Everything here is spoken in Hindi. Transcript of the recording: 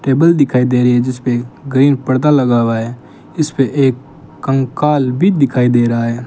टेबल दिखाई दे रही है जिसपे कही पर्दा लगा हुआ है इसपे एक कंकाल भी दिखाई दे रहा है।